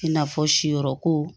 I n'a fɔ si yɔrɔ ko